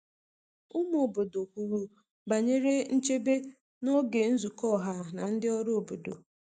Ụmụ obodo kwuru banyere nchebe n’oge nzukọ ọha na ndị ọrụ obodo.